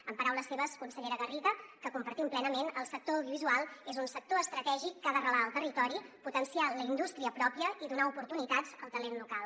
en paraules seves consellera garriga que compartim plenament el sector audio·visual és un sector estratègic que ha d’arrelar al territori potenciar la indústria pròpia i donar oportunitats al talent local